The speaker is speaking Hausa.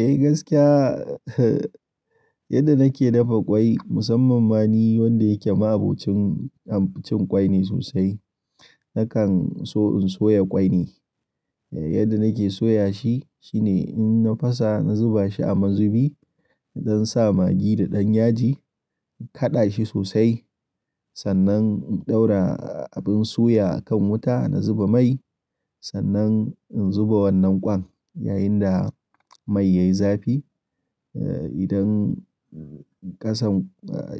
Eh gaskiya, yadda nake dafa kwai musamman ma ni wanda yake ma'abocin abincin cin kwai ne sosai. Nakan so in soya kwai ne, yadda nake soya shi shine in na fasa na zuba shi a mazubi, zan sa magi da ɗanyaji in kaɗa shi sosai sannan in ɗaura abin suya akan wuta na zuba mai sannan in zuba wannan kwan yayin da mai yayi zafi. Eh idan ƙasan,